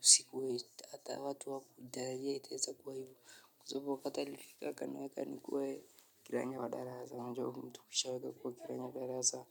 sikuwai, taka watu hawakutarajia itaeza kwa hivo. Kwa sababu wakati alifika akaniweka nikuwe kiranja wa darasa.